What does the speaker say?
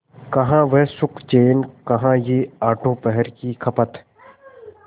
कहाँ वह सुखचैन कहाँ यह आठों पहर की खपत